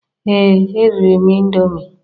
Ee eriri m indomie